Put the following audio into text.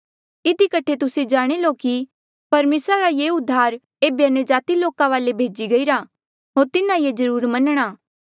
इधी कठे तुस्से जाणी लो कि परमेसरा रा ये उद्धार एेबे अन्यजाति लोका वाले भेजी गईरा होर तिन्हा ऐें जरुर मनणा